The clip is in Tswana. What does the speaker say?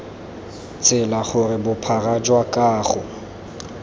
tsela gore bophara jwa kago